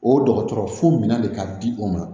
O dɔgɔtɔrɔ fo minɛ de ka di u ma